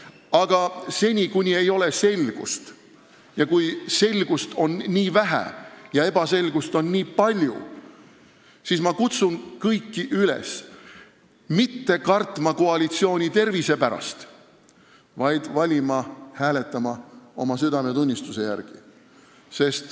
Aga seni, kuni ei ole selgust, kuni selgust on nii vähe ja ebaselgust nii palju, ma kutsun kõiki üles mitte kartma koalitsiooni tervise pärast, vaid valima, hääletama oma südametunnistuse järgi.